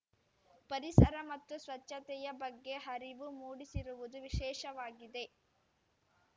ಪರಿಸರ ಮತ್ತು ಸ್ವಚ್ಚತೆಯ ಬಗ್ಗೆ ಅರಿವು ಮೂಡಿಸಿರುವುದು ವಿಶೇಷವಾಗಿದೆ